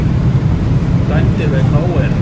Dæmdir vegna óeirða